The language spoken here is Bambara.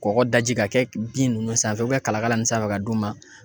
Kɔgɔ daji ka kɛ bin ninnu sanfɛ ka kala kala min sanfɛ ka d'u ma.